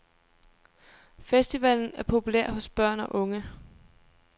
Festivalen er populær hos børn og unge.